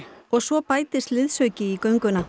og svo bætist við liðsauki í gönguna